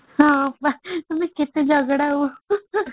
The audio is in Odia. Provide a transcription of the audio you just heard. ହଁ ବା ତମେ କାତେ ଝଗଡା ହୁଅ